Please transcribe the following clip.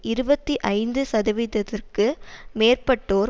இருபத்தி ஐந்து சதவீதத்திற்க்கு மேற்பட்டோர்